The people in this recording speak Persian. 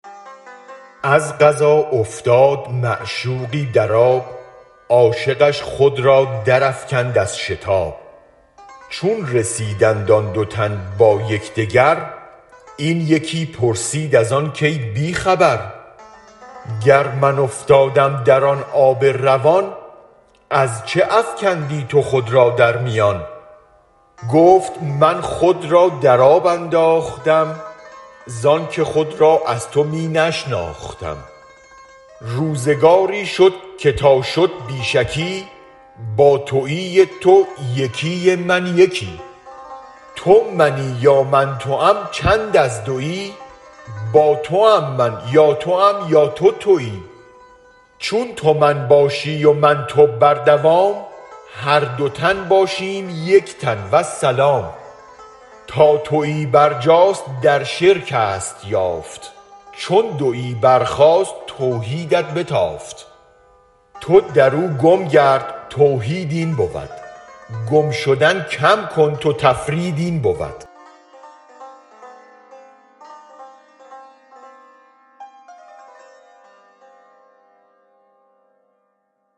از قضا افتاد معشوقی در آب عاشقش خود را درافکند از شتاب چون رسیدند آن دو تن با یک دگر این یکی پرسید از آن کای بی خبر گر من افتادم در آن آب روان از چه افکندی تو خود را در میان گفت من خود را در آب انداختم زانک خود را از تو می نشناختم روزگاری شد که تا شد بی شکی با تویی ی تو یکی ی من یکی تو منی یا من توم چند از دوی با توم من یا توم یا تو توی چون تو من باشی و من تو بر دوام هر دو تن باشیم یک تن والسلام تا توی برجاست در شرکست یافت چون دوی برخاست توحیدت بتافت تو درو گم گرد توحید این بود گم شدن کم کن تو تفرید این بود